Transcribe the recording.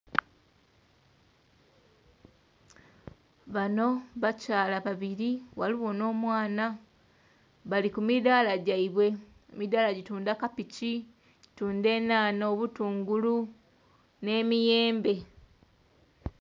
Banho bakyala babiri ghaligho n'omwana, bali ku midhala gyeibwe. Emidhala dhi tundha kapiki, enhahha, obutungulu nhe miyembe.